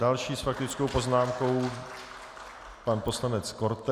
Další s faktickou poznámkou pan poslanec Korte.